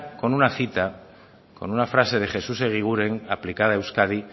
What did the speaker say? con una cita con una frase de jesús eguiguren aplicada a euskadi